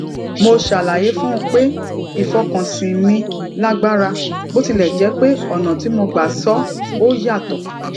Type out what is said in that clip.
mo ṣàlàyé fún un pé ìfọkànsìn mi lágbára bó tilè jé pé ònà tí mo gbà sọ ó yàtò